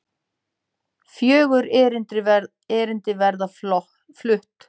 Fjögur erindi verða flutt.